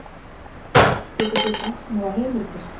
Getið þið bent mér á heimildir?